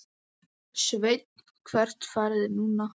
Sveinn: Hvert farið þið núna?